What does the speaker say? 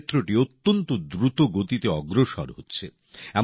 এই ক্ষেত্রটি অত্যন্ত দ্রুতগতিতে অগ্রসর হচ্ছে